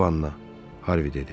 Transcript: Panla dedi.